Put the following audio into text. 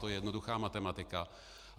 To je jednoduchá matematika.